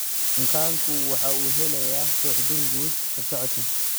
Bukaanku waxa uu helayaa suuxdin guud habsocodkan.